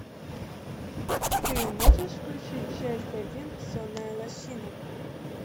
ты можешь включить часть один сонная лощина